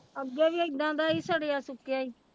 ਅੱਗੇ ਵੀ ਏਦਾਂ ਦਾ ਹੀ ਸੜਿਆ ਸੁੱਕਿਆ ਹੀ।